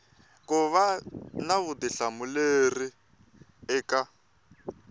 ku va na vutihlamuleri eka